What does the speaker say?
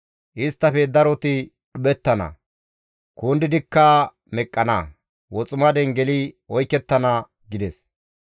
Isttafe daroti dhuphettana; kundidikka meqqana; woximaden geli oykettana» gides.